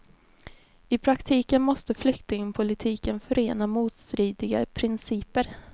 I praktiken måste flyktingpolitiken förena motstridiga principer.